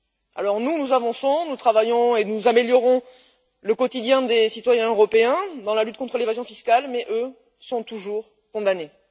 Alors, nous, nous avançons, nous travaillons et nous améliorons le quotidien des citoyens européens dans la lutte contre l'évasion fiscale, mais eux sont toujours condamnés.